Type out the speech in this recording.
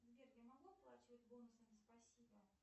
сбер я могу оплачивать бонусами спасибо